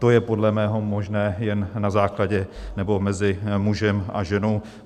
To je podle mého možné jen na základě - nebo mezi mužem a ženou.